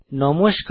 নমস্কার